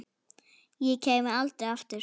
Og kæmi aldrei aftur.